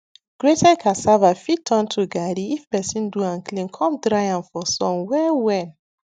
grated cassava fit turn to garri if person do am clean com dry am for sun well well